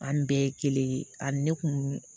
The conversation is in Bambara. An bɛɛ ye kelen ye ani ne kun